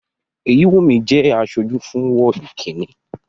Èyíwùnmí jẹ́ aṣojú fún wọ́ọ̀dù kínni